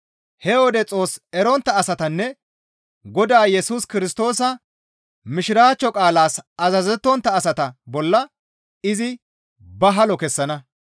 He wode Xoos erontta asatanne Godaa Yesus Kirstoosa Mishiraachcho qaalaas azazettontta asata bolla izi ba halo kessana.